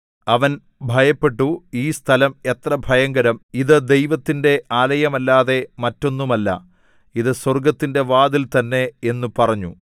അവൻ ഭയപ്പെട്ടു ഈ സ്ഥലം എത്ര ഭയങ്കരം ഇത് ദൈവത്തിന്റെ ആലയമല്ലാതെ മറ്റൊന്നുമല്ല ഇത് സ്വർഗ്ഗത്തിന്റെ വാതിൽ തന്നെ എന്നു പറഞ്ഞു